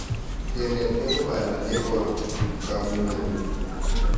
Kenetkei ko panda neiporu kamugengung